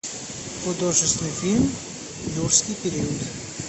художественный фильм юрский период